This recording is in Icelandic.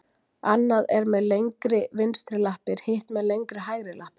Annað er með lengri vinstri lappir, hitt með lengri hægri lappir.